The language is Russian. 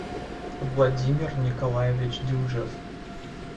владимир николаевич дюжев